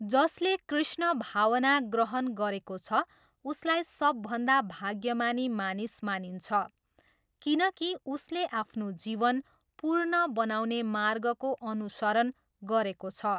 जसले कृष्ण भावना ग्रहण गरेको छ उसलाई सबभन्दा भाग्यमानी मानिस मानिन्छ किनकि उसले आफ्नो जीवन पूर्ण बनाउने मार्गको अनुसरण गरेको छ।